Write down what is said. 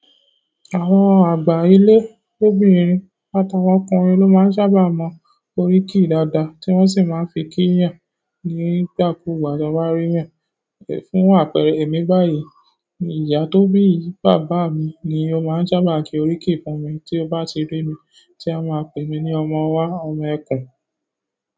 Àwọn àgbà ilé, lobìnrin àtàwọn ọkùnrin ló máa ń sábà mọ́ oríkì dáadáa tí wọ́n sì máa ń fi kí eeyan nígbàkugbà tí wọ́n bá rí eeyan fún àpẹẹrẹ, èmi báyìí, ìyá tó bí bàbá mi ni ó máa ń sábà ki oríkì fún mi tí ó bá ti ri mi, tí a máa pè mí ní ọmọ ọwá, ọmọ ẹkùn.